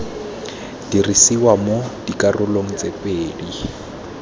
dirisiwa mo dikarolong tse pedi